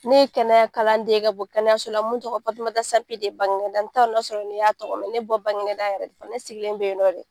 Ne ye kɛnɛya kalan den ye ka bɔ kɛnɛyaso la mun tɔgɔ ye Fatimata Sampi Bagineda n t'a dɔn n'a ya sɔrɔ i y'a tɔgɔ mɛn ne bɛ bɔ Bagineda yɛrɛ de ne sigilen bɛ yen nɔ de.